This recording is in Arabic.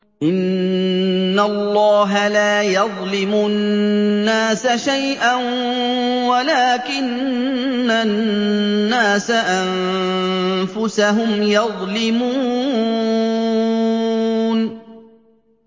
إِنَّ اللَّهَ لَا يَظْلِمُ النَّاسَ شَيْئًا وَلَٰكِنَّ النَّاسَ أَنفُسَهُمْ يَظْلِمُونَ